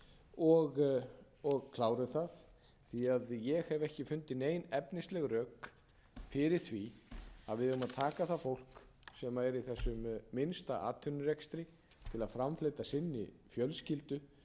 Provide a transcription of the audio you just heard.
og klárum það því ég hef ekki fundið nein efnisleg rök fyrir því að við eigum að taka það fólk sem er í þessum minnsta atvinnurekstri til að framfleyta sinni fjölskyldu